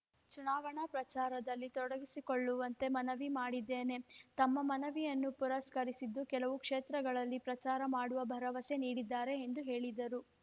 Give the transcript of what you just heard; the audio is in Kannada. ಚುನಾವಣಾ ಪ್ರಚಾರದಲ್ಲಿ ತೊಡಗಿಸಿಕೊಳ್ಳುವಂತೆ ಮನವಿ ಮಾಡಿದ್ದೇನೆ ತಮ್ಮ ಮನವಿಯನ್ನು ಪುರಸ್ಕರಿಸಿದ್ದು ಕೆಲವು ಕ್ಷೇತ್ರಗಳಲ್ಲಿ ಪ್ರಚಾರ ಮಾಡುವ ಭರವಸೆ ನೀಡಿದ್ದಾರೆ ಎಂದು ಹೇಳಿದರು